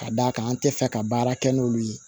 Ka d'a kan an tɛ fɛ ka baara kɛ n'olu ye